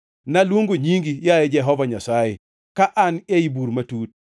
Naluongo nyingi, yaye Jehova Nyasaye, ka an ei bur matut.